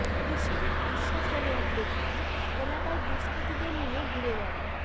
বিশ্বজিৎ বিশ্বাস নামে এক ব্যক্তি এলাকায় দুষ্কৃতীদের নিয়ে ঘুরে বেড়ায়